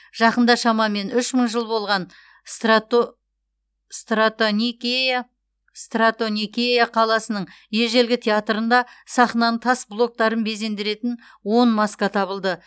жақында шамамен үш мың жыл болған стратоникея қаласының ежелгі театрында сахнаның тас блоктарын безендіретін он маска табылды